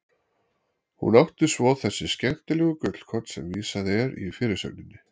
Hún átti svo þessi skemmtilegu gullkorn sem vísað er í fyrirsögninni.